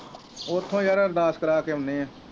ਉਥੋਂ ਯਾਰ ਅਰਦਾਸ ਕਰਾ ਕੇ ਆਉਨੇ ਆ